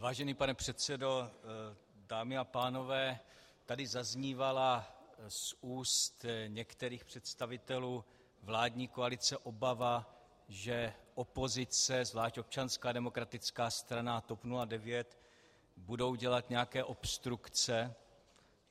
Vážený pane předsedo, dámy a pánové, tady zaznívala z úst některých představitelů vládní koalice obava, že opozice, zvlášť Občanská demokratická strana a TOP 09, budou dělat nějaké obstrukce.